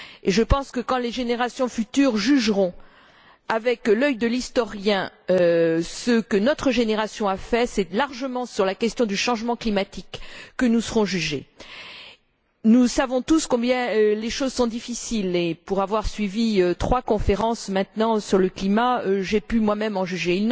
Et je pense que quand les générations futures jugeront, avec l'œil de l'historien, ce que notre génération a fait, c'est largement sur la question du changement climatique que nous serons jugés. Nous savons tous combien les choses sont difficiles et, pour avoir suivi trois conférences sur le climat, j'ai pu moi même en juger.